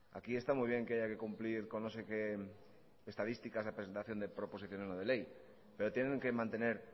aquí está muy bien que haya que cumplir con no sé qué estadísticas a presentación de proposición no de ley pero tienen que mantener